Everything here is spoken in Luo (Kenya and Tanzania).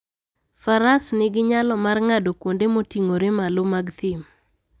Faras nigi nyalo mar ng'ado kuonde moting'ore malo mag thim.